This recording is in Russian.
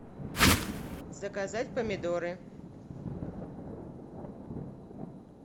заказать помидоры